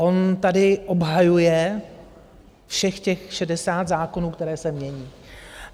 On tady obhajuje všech těch 60 zákonů, které se mění.